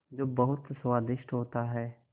जो बहुत स्वादिष्ट होता है